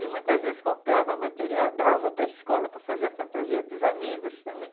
E muitas vezes comprava material, dava para a escola para fazer a fantasia dos amigos também.